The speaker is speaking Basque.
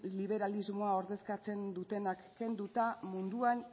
neoliberalismoa ordezkatzen dutenak kenduta munduan